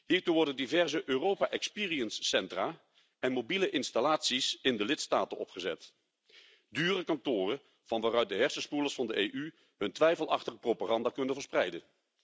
Hiertoe worden diverse Europa Experience centra en mobiele installaties in de lidstaten opgezet dure kantoren van waaruit de hersenspoelers van de EU hun twijfelachtige propaganda kunnen verspreiden.